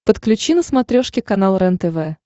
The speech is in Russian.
подключи на смотрешке канал рентв